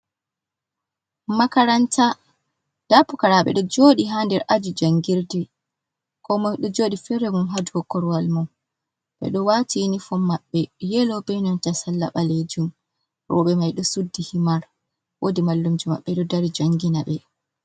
"Makaranta" nda pukaraaɓe ɗo joɗi ha nder aji jangirde ko moi ɗo jooɗi fere mun ha dou korowal mun ɓeɗo waati yunifom maɓɓe yelo be nanta salla ɓalejum rooɓe mai ɗo suddi himar woodi mallumjo mabɓe ɗo dari jangina ɓe.